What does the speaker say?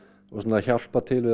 hjálpa til við